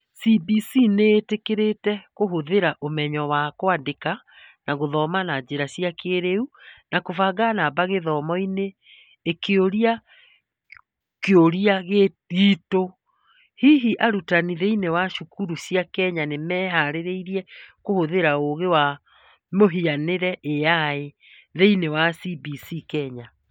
CBC nĩ ĩtĩkĩrĩte kũhũthĩra ũmenyo wa kwandĩka na gũthoma na njĩra cia kĩĩrĩu na kũbanga namba gĩthomo-inĩ, ĩkĩũria kĩũria gitũ:Hihi arutani thĩinĩ wa cukuru cia Kenya nĩ meharĩirie kũhũthĩra ũũgĩ wa mũhianĩre (AI) thĩinĩ wa CBC Kenya?